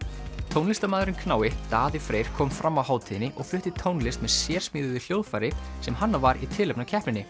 tónlistarmaðurinn knái Daði Freyr kom fram á hátíðinni og flutti tónlist með sérsmíðuðu hljóðfæri sem hannað var í tilefni af keppninni